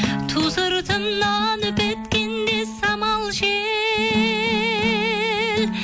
ту сыртымнан үп еткенде самал жел